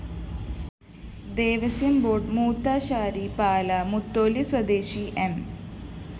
Devaswom board മൂത്താശാരി പാല മുത്തോലി സ്വദേശി M